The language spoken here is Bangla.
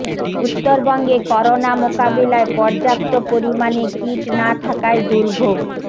উত্তরবঙ্গে করোনা মোকাবিলায় পর্যাপ্ত পরিমাণে কিট না থাকায় দুর্ভোগ